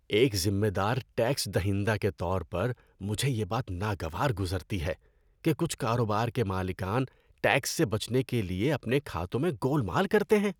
ایک ذمہ دار ٹیکس دہندہ کے طور پر، مجھے یہ بات ناگوار گزرتی ہے کہ کچھ کاروبار کے مالکان ٹیکس سے بچنے کے لیے اپنے کھاتوں میں گول مال کرتے ہیں۔